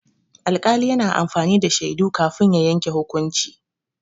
Alƙali yana amfani da shaidu kafin ya yanke hukunci.